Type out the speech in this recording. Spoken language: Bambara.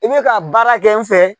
I bɛ ka baara kɛ n fɛ.